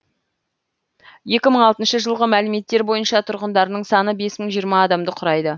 екі мың алтыншы жылғы мәліметтер бойынша тұрғындарының саны бес мың жиырма адамды құрайды